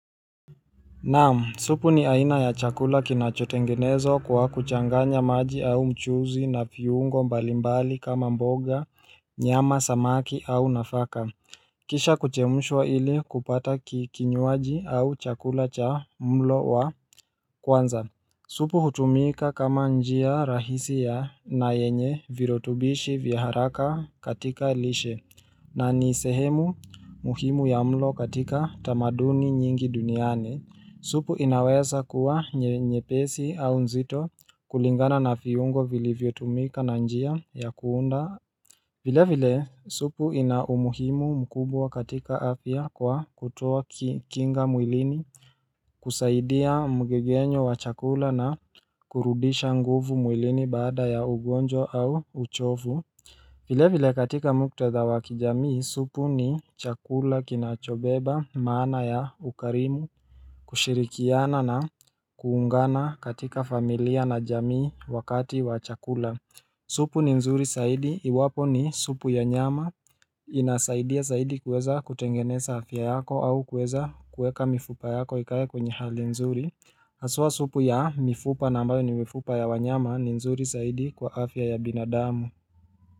Naam, supu ni aina ya chakula kinachotengenezwa kwa kuchanganya maji au mchuuzi na viungo mbalimbali kama mboga, nyama, samaki au nafaka. Kisha kuchemshwa ili kupata kinywaji au chakula cha mlo wa kwanza. Supu hutumika kama njia rahisi ya na yenye virutubishi vya haraka katika lishe na ni sehemu muhimu ya mlo katika tamaduni nyingi duniani. Supu inaweza kuwa nyepesi au nzito kulingana na viungo vilivyotumika na njia ya kuunda. Vilevile supu ina umuhimu mkubwa katika afya kwa kutoa kinga mwilini, kusaidia mgegenyo wa chakula na kurudisha nguvu mwilini bada ya ugonjwa au uchovu Vilevile katika muktadha wa kijamii, supu ni chakula kinachobeba maana ya ukarimu. Kushirikiana na kuungana katika familia na jamii wakati wa chakula supu ni nzuri zaidi iwapo ni supu ya nyama inasaidia zaidi kuweza kutengeneza afya yako au kuweza kuweka mifupa yako ikae kwenye hali nzuri. Haswa supu ya mifupa na ambayo ni mifupa ya wanyama ni nzuri zaidi kwa afya ya binadamu.